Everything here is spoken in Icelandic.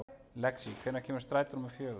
Lexí, hvenær kemur strætó númer fjögur?